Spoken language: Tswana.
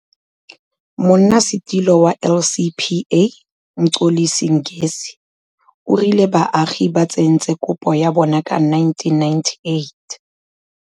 Monnasetulo wa LCPA, Mxolisi Ngesi, o rile baagi ba tsentse kopo ya bona ka 1998.